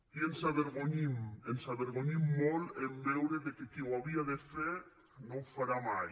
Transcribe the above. i ens avergonyim ens avergonyim molt en veure que qui ho havia de fer no ho farà mai